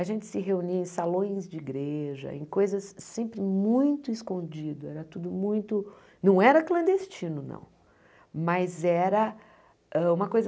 A gente se reunia em salões de igreja, em coisas sempre muito escondidas, era tudo muito... Não era clandestino, não, mas era hã uma coisa...